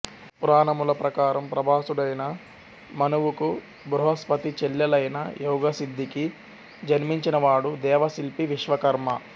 పురాణముల ప్రకారం ప్రభాసుడైన మనువుకు బృహస్పతి చెల్లెలైన యోగసిద్ధికి జన్మించిన వాడు దేవశిల్పి విశ్వకర్మ